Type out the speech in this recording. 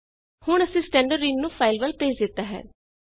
ਹੁਣ ਅਸੀ ਸਟੈਂਡਰਡਿਨ ਨੂੰ ਫਾਈਲ ਵੱਲ ਭੇਜ ਦਿੱਤਾ ਹੈ